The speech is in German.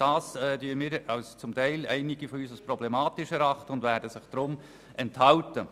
Dies erachten einige von uns als problematisch, und sie werden sich deshalb der Stimme enthalten.